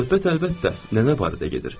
Söhbət, əlbəttə, nənə barədə gedir.